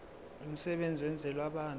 lomsebenzi wenzelwe abantu